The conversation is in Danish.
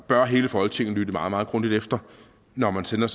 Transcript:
bør hele folketinget lytte meget meget grundigt efter når man sender